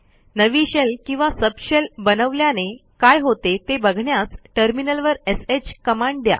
नवी शेल किंवा सबशेल बनवल्याने काय होते ते बघण्यास टर्मिनलवर श कमांड द्या